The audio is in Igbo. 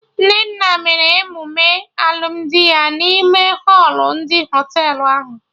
Nnenna mere emume alụmdi ya n'ime họlụ ndị Họtelụ ahụ